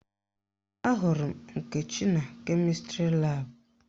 Ahụrụ m Nkechi na kemịstrị laabụ